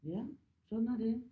Ja sådan er det